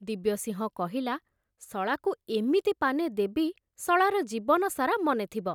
ଦିବ୍ୟସିଂହ କହିଲା, ଶଳାକୁ ଏମିତି ପାନେ ଦେବି ଶଳାର ଜୀବନସାରା ମନେଥିବ ।